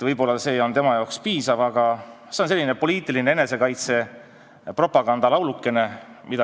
Võib-olla on see tema jaoks piisav, aga see on Reformierakonnal selline poliitiline enesekaitse propagandalaulukene.